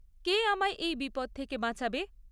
কে আমায় এই বিপদ থেকে বাঁচাবে?